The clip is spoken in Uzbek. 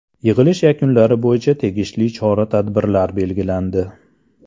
Yig‘ilish yakunlari bo‘yicha tegishli chora-tadbirlar belgilandi.